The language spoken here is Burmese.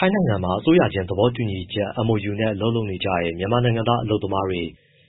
ိုင်းနိုင်ငံမှာ အစိုးရချင်း သဘောတူညီချက် MoU နဲ့ အလုပ်လုပ်နေကြတဲ့ မြန်မာနိုင်ငံသား အလုပ်သမားတွေ